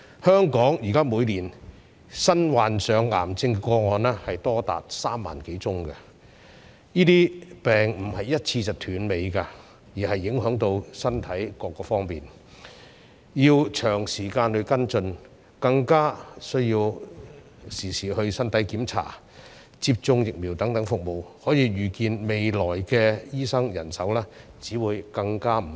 香港現在每年新患上癌症的個案多達3萬多宗，這些病不能一次斷尾，亦會影響身體各方面，需要長時間跟進，市民亦需要身體檢查、接種疫苗等服務，可以預見未來的醫生人手只會更加不足。